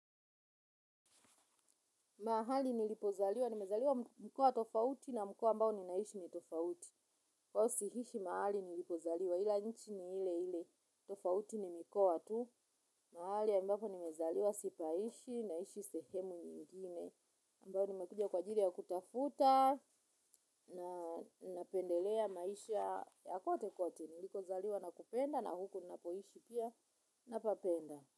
Mahali nilipozaliwa, nimezaliwa mkoa tofauti na mkoa ambao ninaishi ni tofauti. Huwa siishi mahali nilipozaliwa, ila nchi ni ile ile tofauti ni mikoa tu. Mahali ambapo nimezaliwa sipaishi, naishi sehemu nyingine. Ambao nimekuja kwa ajiri ya kutafuta, na napendelea maisha ya kote kote. Nilikozaliwa nakupenda na huku nnapoishi pia napapenda.